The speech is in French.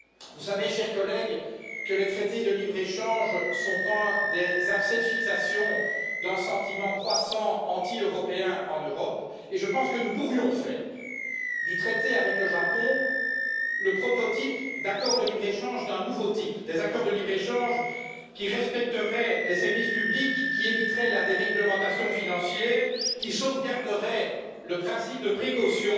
Vous savez, chers collègues, que les traités de libre échange sont un des abcès de fixation d'un sentiment anti européen croissant en Europe et je pense que nous pourrions faire du traité avec le Japon le prototype d'accords de libre échange d'un nouveau type des accords de libre échange qui respecteraient les services publics, qui éviteraient la déréglementation financière, qui sauvegarderaient le principe de précaution